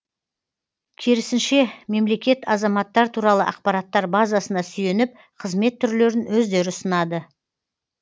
керісінше мемлекет азаматтар туралы ақпараттар базасына сүйеніп қызмет түрлерін өздері ұсынады